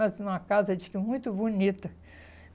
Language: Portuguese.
numa casa, diz que, muito bonita.